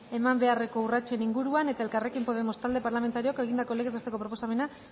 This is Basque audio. eman beharreko urratsen inguruan elkarrekin podemos talde parlamentarioak egindako legez besteko proposamena